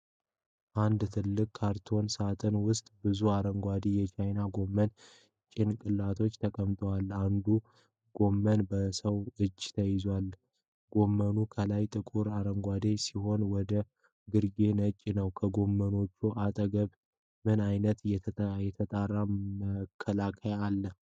በአንድ ትልቅ ካርቶን ሣጥን ውስጥ ብዙ አረንጓዴ የቻይና ጎመን ጭንቅላቶች ተቀምጠዋል። አንዱ ጎመን በሰው እጅ ተይዟል። ጎመኑ ከላይ ጥቁር አረንጓዴ ሲሆን ወደ ግርጌው ነጭ ነው። ከጎመኖቹ አጠገብ ምን አይነት የተጣራ መከላከያ አለ?